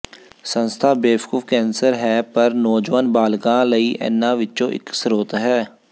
ਸੰਸਥਾ ਬੇਵਕੂਫ ਕੈਂਸਰ ਹੈ ਪਰ ਨੌਜਵਾਨ ਬਾਲਗਾਂ ਲਈ ਇਨ੍ਹਾਂ ਵਿੱਚੋਂ ਇੱਕ ਸਰੋਤ ਹੈ